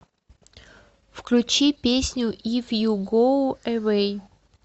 включи песню иф ю гоу эвэй